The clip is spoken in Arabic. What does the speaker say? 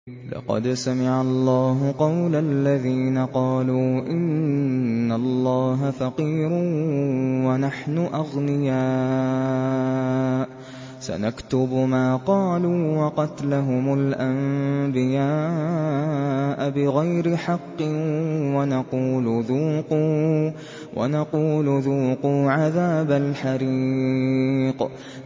لَّقَدْ سَمِعَ اللَّهُ قَوْلَ الَّذِينَ قَالُوا إِنَّ اللَّهَ فَقِيرٌ وَنَحْنُ أَغْنِيَاءُ ۘ سَنَكْتُبُ مَا قَالُوا وَقَتْلَهُمُ الْأَنبِيَاءَ بِغَيْرِ حَقٍّ وَنَقُولُ ذُوقُوا عَذَابَ الْحَرِيقِ